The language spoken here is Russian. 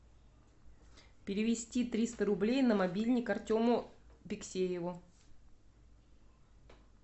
перевести триста рублей на мобильник артему биксееву